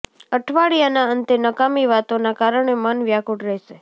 અઠવાડિયાના અંતે નકામી વાતોના કારણે મન વ્યાકુળ રહેશે